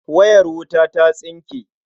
Wayar wuta ta tsinke.